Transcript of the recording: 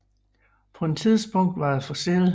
På det tidspunkt var det for sent